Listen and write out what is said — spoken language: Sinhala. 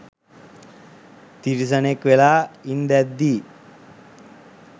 තිරිසනෙක් වෙලා ඉන්දැද්දි